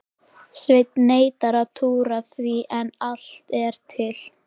Svenni neitar að trúa því en allt er til.